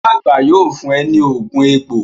Ìyá àgbà yóò fún e ní oògùn egbò.